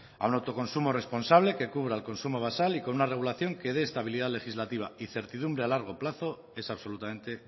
a un autoconsumo responsable que cubra el consumo basal y con una regulación que de estabilidad legislativa y certidumbre a largo plazo es absolutamente